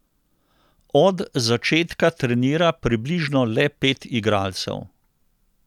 Od začetka trenira približno le pet igralcev.